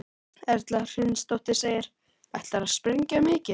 Erla Hlynsdóttir: Ætlarðu að sprengja mikið?